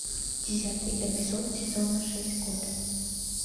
десятый эпизод сезона шесть готэм